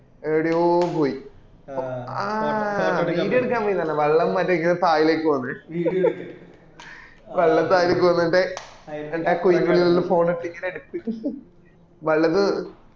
എദ്യോ പോയി ആ video എടുക്കാൻ പോയിന്ന പറഞ്ഞെ വള്ളം ണ്=മറ്റേ തായലെക്ക് പോന്ന വള്ളം തായലെക്ക് പൊന്നെ മറ്റേ ആ കുയിന്റെ ഉള്ളിൽ phone ഇട്ട് ഇങ്ങനെ എടുത്ത്